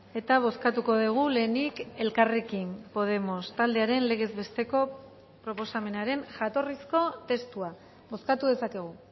eta bozkatuko dugu lehenik elkarrekin podemos taldearen legez besteko proposamenaren jatorrizko testua bozkatu dezakegu